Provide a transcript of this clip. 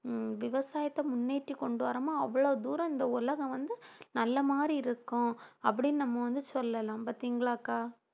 விவசாயத்தை முன்னேற்றி கொண்டு வர்றோமோ அவ்வளவு தூரம் இந்த உலகம் வந்து நல்ல மாதிரி இருக்கும் அப்படின்னு நம்ம வந்து சொல்லலாம் பாத்தீங்களாக்கா